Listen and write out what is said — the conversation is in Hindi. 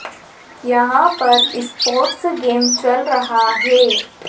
यहाँ पर स्पोर्ट्स गेम चल रहा हैं।